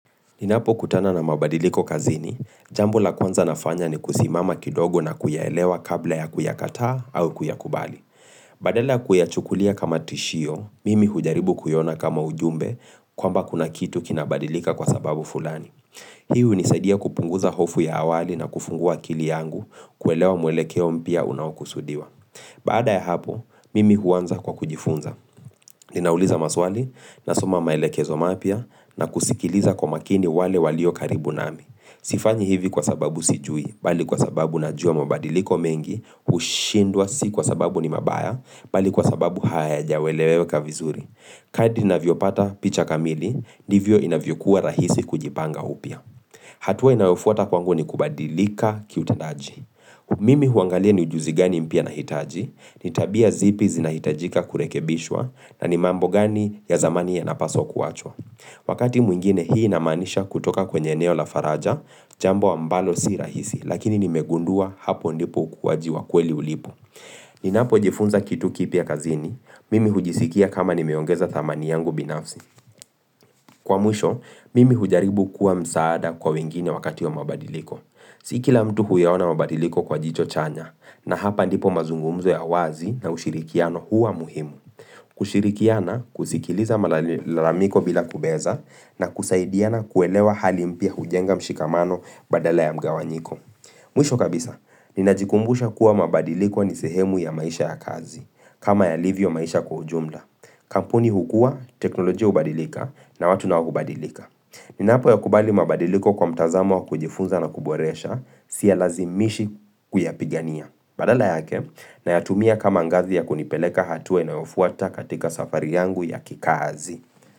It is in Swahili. Ninapo kutana na mabadiliko kazini, jambo la kwanza nafanya ni kusimama kidogo na kuyelewa kabla ya kuyakataa au kuyakubali. Badela kuyachukulia kama tishio, mimi hujaribu kuyona kama ujumbe kwamba kuna kitu kinabadilika kwa sababu fulani. Hii unisaidia kupunguza hofu ya awali na kufungua kili yangu kuelewa mwelekeo mpya unaokusudiwa. Baada ya hapo, mimi huanza kwa kujifunza. Ninauliza maswali, nasoma maelekezo mapya na kusikiliza kwa makini wale walio karibu nami. Sifanyi hivi kwa sababu sijui, bali kwa sababu najua mabadiliko mengi, ushindwa si kwa sababu ni mabaya, bali kwa sababu hayajaeleweka vizuri. Kadi inavyo pata picha kamili, ndivyo inavyo kuwa rahisi kujipanga upya. Hatua inayofuta kwangu ni kubadilika kiutendaji. Mimi huangalia ni ujuzi gani mpya na hitaji, ni tabia zipi zinahitajika kurekebishwa na ni mambo gani ya zamani ya napaso kuachwa. Wakati mwingine hii namanisha kutoka kwenye eneo la faraja, jambo ambalo si rahisi, lakini nimegundua hapo ndipo kuwajiwa kweli ulipo. Ninapo jifunza kitu kipi ya kazini, mimi hujisikia kama nimeongeza thamani yangu binafsi. Kwa mwisho, mimi hujaribu kuwa msaada kwa wengine wakati ya mabadiliko. Si kila mtu huyaona mabadiliko kwa jicho chanya na hapa ndipo mazungumzo ya wazi na ushirikiano huwa muhimu kushirikiana, kusikiliza malalamiko bila kubeza na kusaidiana kuelewa halimpia hujenga mshikamano badala ya mgawanyiko Mwisho kabisa, ninajikumbusha kuwa mabadiliko ni sehemu ya maisha ya kazi kama ya livyo maisha kwa ujumla Kampuni hukua, teknolojia hubadilika na watu nao hubadilika Ninapo ya kubali mabadiliko kwa mtazamo wa kujifunza na kuboresha, siyalazimishi kuyapigania. Badala yake, na yatumia kama angazi ya kunipeleka hatuwe na ufuata katika safari yangu ya kikazi.